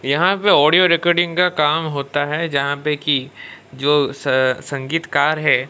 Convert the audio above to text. यहां पे audio recording का काम होता है जहां पे कि जो अह संगीतकार है।